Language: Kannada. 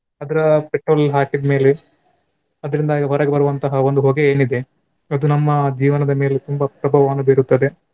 ಅದರ petrol ಹಾಕಿದ್ಮೇಲೆ ಅದರಿಂದಾಗಿ ಹೊರಗೆ ಬರುವಂತಹ ಒಂದು ಹೊಗೆ ಏನಿದೆ ಅದು ನಮ್ಮ ಜೀವನದ ಮೇಲೆ ತುಂಬಾ ಪ್ರಭಾವವನ್ನು ಬೀರುತ್ತದೆ.